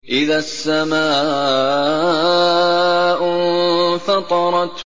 إِذَا السَّمَاءُ انفَطَرَتْ